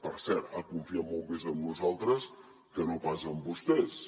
per cert ha confiat molt més en nosaltres que no pas en vostès